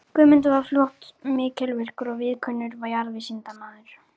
Guðmundur varð fljótt mikilvirkur og víðkunnur jarðvísindamaður.